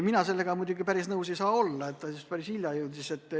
Mina sellega päris nõus ei saa olla, et see jõudis meieni hilja.